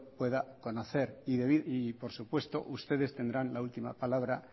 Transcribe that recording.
pueda conocer y por supuesto ustedes tendrán la última palabra